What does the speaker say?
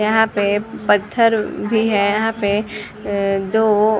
यहाँ पे पत्थर भी है यहाँ पे अ दो --